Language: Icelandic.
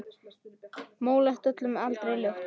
Móleit öll en aldrei ljót.